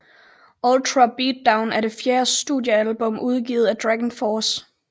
Ultra Beatdown er det fjerde studiealbum udgivet af Dragonforce